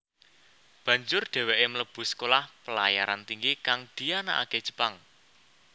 Banjur dheweke mlebu Sekolah Pelayaran Tinggi kang dianakake Jepang